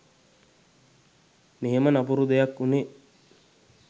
මෙහෙම නපුරු දෙයක් වුණේ